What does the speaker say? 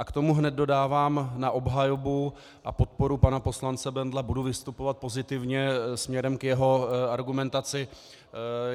A k tomu hned dodávám na obhajobu a podporu pana poslance Bendla, budu vystupovat pozitivně směrem k jeho argumentaci.